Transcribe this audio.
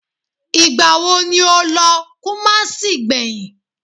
Ìgbà wo ni o lọ kumasi gbẹ̀yìn?